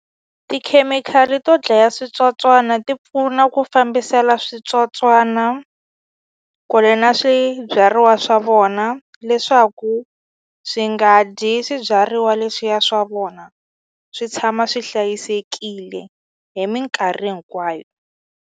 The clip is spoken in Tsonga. Tikhemikhali to dlaya switsotswana ti pfuna ku fambisela switsotswana kule na swibyariwa swa vona leswaku swi nga dyi swibyariwa leswiya swa vona swi tshama swi hlayisekile hi minkarhi hinkwayo.